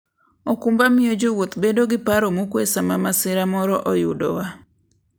okumba miyo jowuoth bedo gi paro mokuwe sama masira moro oyudowa.